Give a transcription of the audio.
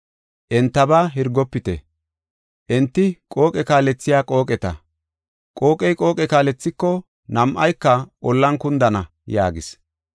Entaba Hirgofite; enti qooqe kaalethiya qooqeta. Qooqey qooqe kaalethiko, nam7ayka ollan kundana” yaagis.